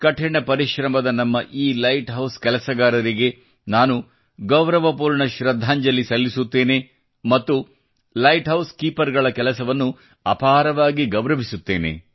ಕಠಿಣ ಪರಿಶ್ರಮದ ನಮ್ಮ ಈ ಲೈಟ್ ಹೌಸ್ ಕೆಲಸಗಾರರಿಗೆ ನಾನು ಗೌರವಪೂರ್ಣ ಶೃದ್ಧಾಂಜಲಿ ಸಲ್ಲಿಸುತ್ತೇನೆ ಮತ್ತು ಲೈಟ್ಹೌಸ್ ಕೀಪರ್ಗಳ ಕೆಲಸವನ್ನು ಅಪಾರವಾಗಿ ಗೌರವಿಸುತ್ತೇನೆ